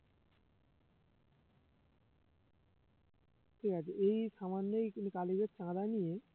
ঠিক আছে এই খামার নিয়ে কিন্তু কালিমের চাঁদা নিয়ে